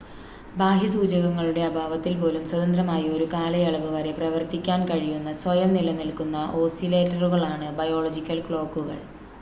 ബാഹ്യ സൂചകങ്ങളുടെ അഭാവത്തിൽ പോലും സ്വതന്ത്രമായി ഒരു കാലയളവ് വരെ പ്രവർത്തിക്കാൻ കഴിയുന്ന സ്വയം നിലനിൽക്കുന്ന ഓസിലേറ്ററുകളാണ് ബയോളജിക്കൽ ക്ലോക്കുകൾ